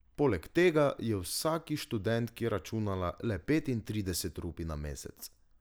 Poleg tega je vsaki študentki računala le petintrideset rupij na mesec.